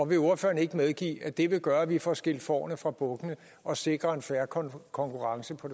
vil ordføreren ikke medgive at det vil gøre at vi får skilt fårene fra bukkene og sikre en fair konkurrence på